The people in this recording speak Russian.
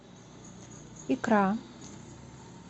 икра